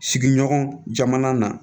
Sigiɲɔgɔn jamana na